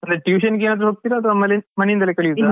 ಅಲ್ಲ tuition ಗೆ ಏನಾದ್ರು ಹೋಗ್ತೀರಾ ಅತ್ವಾ ಮನೆ ಮನೆಯಿಂದಾನೆ ಕಲಿಯುದಾ.